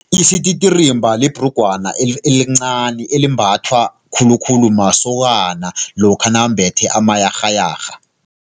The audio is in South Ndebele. Isititirimba libhrugwana elincani elimbathwa khulukhulu masokana lokha nambethe amayarhayarha.